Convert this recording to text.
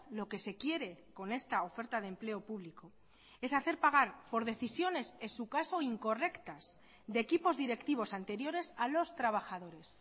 lo que se quiere con esta oferta de empleo público es hacer pagar por decisiones en su caso incorrectas de equipos directivos anteriores a los trabajadores